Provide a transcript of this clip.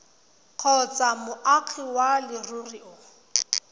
kgotsa moagi wa leruri o